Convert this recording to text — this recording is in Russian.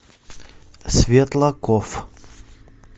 светлаков